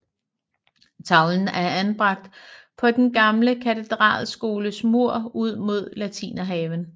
Tavlen er anbragt på den gamle katedralskoles mur ud mod Latinerhaven